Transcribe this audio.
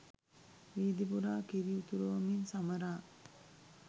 වීදිපුරා කිරි උතුරවමින් සමරා